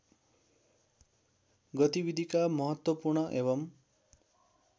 गतिविधिका महत्त्वपूर्ण एवं